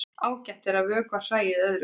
Ágætt er að vökva hræið öðru hvoru.